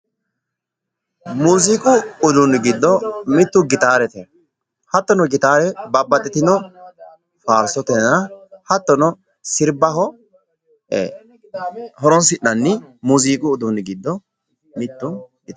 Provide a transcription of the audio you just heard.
Muziiqu uduunni giddo mittu gitaarete. hattono gitaare babbaxitino faarsotenna hattono sirbaho horonsi"nanni muziiqu uduuni giddo mittu gitaarete